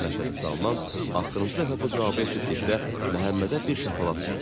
Məşədi Salman axırıncı dəfə bu cavabı eşitdikdə Məhəmmədə bir şapalaq vurdu.